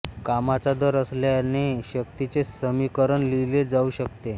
कामाचा दर असल्याने शक्तीचे समीकरण लिहिले जाऊ शकते